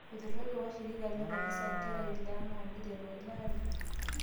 Eituraitie washiriki le kanisa nkera ile enaa neiteru ele aari